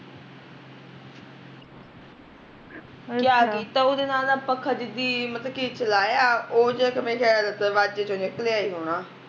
ਪਤਾ ਨੀ ਕਿਆ ਕੀਤਾ ਉਹਦੇ ਨਾਲ਼ ਨਾ ਪੱਖਾ ਜਿਦੀ ਮਤਲਬ ਕੀ ਚਲਾਇਆ ਉਹ ਹਜੇ ਮੇਰਾ ਖਿਆਲ ਦਰਬਾਜ਼ੇ ਚੋ ਨਿਕਲਿਆ ਈ ਹੋਣਾ